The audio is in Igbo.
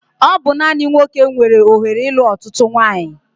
Ọ bụ naani nwoke nwere ohere ilu ọtụtụ nwanyi